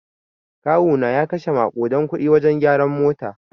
Kawuna ya kashe makuɗan kuɗi wajen gyaran mota.